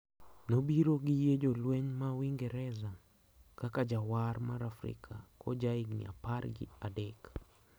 Nobiro gi yie jolweny ma Uingereza kaka jawar mar Afrika kojaigni apar gi adek.